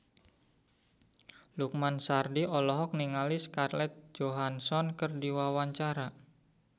Lukman Sardi olohok ningali Scarlett Johansson keur diwawancara